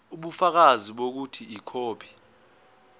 ubufakazi bokuthi ikhophi